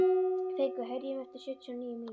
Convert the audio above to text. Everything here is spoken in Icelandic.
Fengur, heyrðu í mér eftir sjötíu og níu mínútur.